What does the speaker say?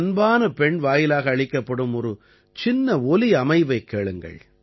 ஒரு அன்பான பெண் வாயிலாக அளிக்கப்படும் ஒரு சின்ன ஒலி அமைவைக் கேளுங்கள்